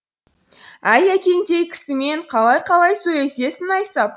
әй әкеңдей кісімен қалай қалай сөйлесесің найсап